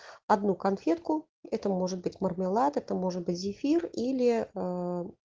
одну конфетку это может быть мармелад это может быть зефир или